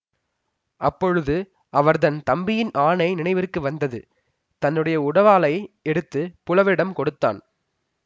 அப்பொழுது அவர்தன் தம்பியின் ஆணை நினைவிற்கு வந்தது தன்னுடைய உடைவாளை எடுத்து புலவரிடம் கொடுத்தான்